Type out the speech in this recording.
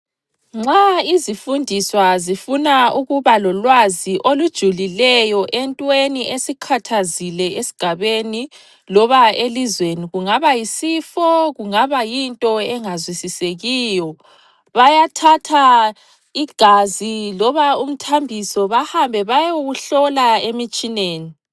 Nxa izifundiswa zifuna ukuba lolwazi olujulileyo entweni esikhathazile esigabeni loba elizweni kungaba yisifo kungaba yinto engazwisisekiyo. Bayathatha igazi loba umthambiso bahambe bayewuhlola emitshineni.